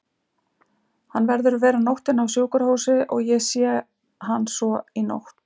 Hann verður að vera nóttina á sjúkrahúsi og ég sé hann svo í nótt.